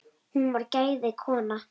Hún var gæða kona.